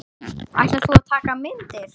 Ætlar þú að taka myndir?